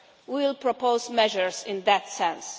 We will propose measures in that sense.